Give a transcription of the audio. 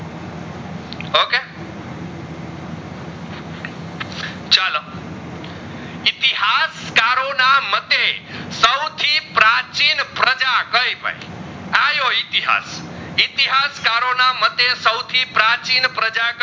આજ કરો ના માટે સાવથી પ્રાચીન પ્રજા કઈ ભાઈ આયો ઇતિહાસ. ઇતિહાસ કરો ના મતે સાવથી પ્રાચિને પ્રજા